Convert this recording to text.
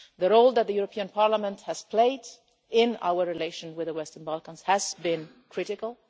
The role that the European Parliament has played in our relations with the Western Balkans has been critical.